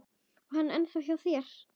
Er hann ennþá hjá þér?